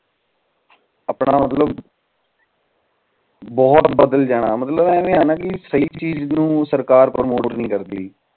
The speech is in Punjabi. ਆਪਣਾ ਮਤਲਬ ਬਹੁਤ ਬਾਦਲ ਜਨਾ ਮਤਲਬ ਐਵੇਂ ਆ ਨਾ ਸਹੀ ਚੀਜ ਨੂੰ ਸਰਕਾਰ ਪ੍ਰੋਮੋਟ ਨੀ ਕਰਦੀ